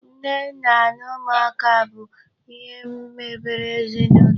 Nne, nna na ụmụaka bụ ihe mebere ezinụlọ.